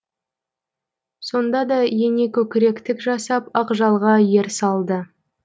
сонда да ене көкіректік жасап ақжалға ер салды